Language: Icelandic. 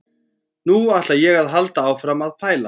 Nú ætla ég að halda áfram að pæla.